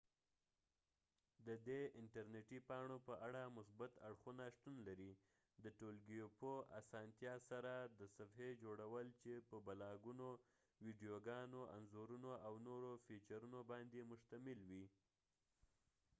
ددې انټر نیټی پاڼو په اړه مثبت اړخونه شتون لري ، د ټولګیوپه اسانتیا سره د صفحی جوړول چې په بلاګونو، ويديوګانو ،انځورونو او نورو فیچرونو باندي مشتمله وي